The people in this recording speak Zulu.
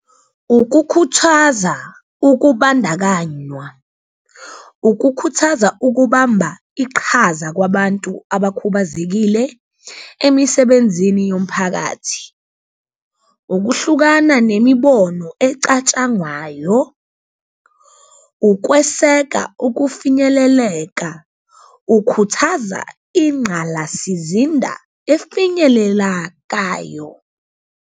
Ukukhuthaza ukubandakanywa, ukukhuthaza ukubamba iqhaza kwabantu abakhubazekile emisebenzini yomphakathi, ukuhlukana nemibono ecatshangwayo, ukweseka ukufinyeleleka, ukhuthaza ingqalasizinda efinyelelakayo.